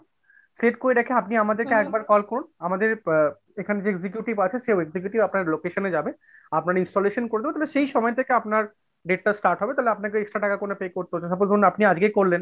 select করে রেখে আপনি আমাদেরকে একবার call করুন আমাদের এখানে যে executive আছে সে executive আপনার location এ যাবে আপনার installation করবে তবে সেই সময় থেকে আপনার date টা start হবে তাহলে আপনাকে extra টাকা pay করতে হচ্ছে না suppose ধরুন আপনি আজকেই করলেন।